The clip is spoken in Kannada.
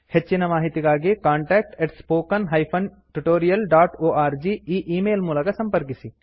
ಹೆಚ್ಚಿನ ಮಾಹಿತಿಗಾಗಿ contact spoken tutorialorg e email ಮೂಲಕ ಸಂಪರ್ಕಿಸಿ